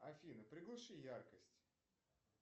афина приглуши яркость